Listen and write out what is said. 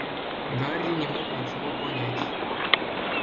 гарри не мог ничего понять